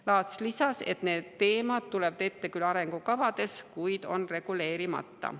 Laats lisas, et need teemad tulevad ette küll arengukavades, kuid on reguleerimata.